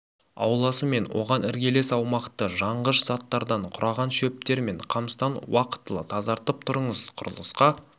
ауласы мен оған іргелес аумақты жанғыш заттардан қураған шөптер мен қамыстан уақытылы тазартып тұрыңыз құрылысқа